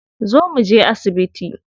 Zo mu je asibiti.